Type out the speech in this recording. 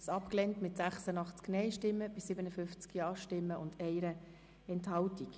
Abstimmung (Art. 72, Überschrift; Antrag GSoK-Minderheit)